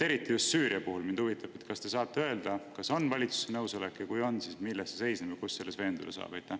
Eriti just Süüria puhul mind huvitab, kas te saate kinnitada, et on valitsuse nõusolek, ja kui on, siis milles see seisneb ja kuidas me selles veenduda saame?